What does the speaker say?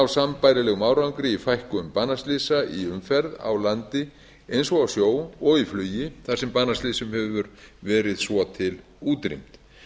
sambærilegum árangri í fækkun banaslysa í umferð á landi eins og á sjó og í flugi þar sem banaslysum hefur verið svo til útrýmt